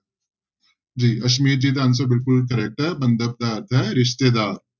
ਜੀ ਅਸਮੀਤ ਜੀ ਦਾ answer ਬਿਲਕੁਲ correct ਹੈ ਬੰਧਪ ਦਾ ਅਰਥ ਹੈ ਰਿਸ਼ਤੇਦਾਰ।